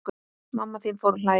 Mamma þín fór að hlæja.